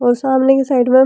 और सामने के साइड में --